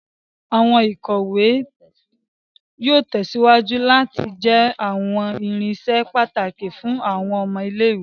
Awọn ikọwe yóò tèsíwájú láti jẹ awọn irinṣẹ pàtàkì fún àwọn ọmọ ilé-ìwé